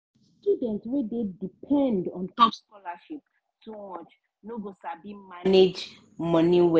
student wey dey depend ontop scholarship too much no go sabi manage money well.